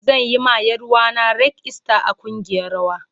Zan yi ma Yaruwa na rag ista a kungiyar rawa.